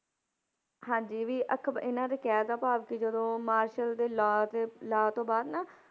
ਹਾਂਜੀ ਵੀ ਅਖ਼ਬ~ ਇਹਨਾਂ ਦੇ ਕਹਿਣ ਦਾ ਭਾਵ ਕਿ ਜਦੋਂ ਮਾਰਸ਼ਲ ਦੇ law ਦੇ law ਤੋਂ ਬਾਅਦ ਨਾ,